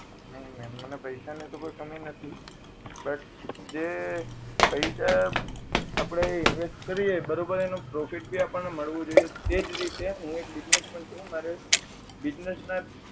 નહીં મેમ મને પૈસા ની તો કોઈ કમી નથી but જે પૈસા આપડે invest કરીએ બરોબર એનો profit પણ આપણને મળવો જોઈએ એજ રીતે હું એક business man છું મારે business ના જ